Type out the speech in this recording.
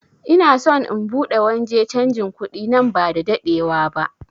Ina son in buɗe wanje canjin kuɗi nan ba da daɗewa ba